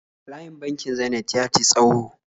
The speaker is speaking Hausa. Layin bankin Zenith ya ti tsawo